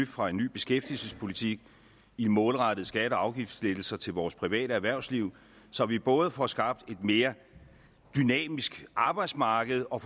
fra en ny beskæftigelsespolitik i målrettede skatte og afgiftslettelser til vores private erhvervsliv så vi både får skabt et mere dynamisk arbejdsmarked og